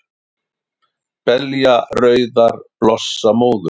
Belja rauðar blossa móður,